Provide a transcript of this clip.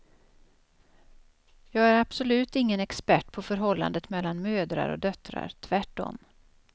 Jag är absolut ingen expert på förhållandet mellan mödrar och döttrar, tvärtom.